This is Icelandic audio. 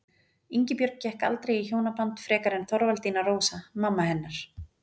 Ingibjörg gekk aldrei í hjónaband frekar en Þorvaldína Rósa, mamma hennar.